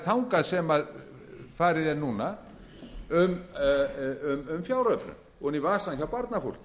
þangað sem farið er núna um fjáröflun ofan í vasann hjá barnafólki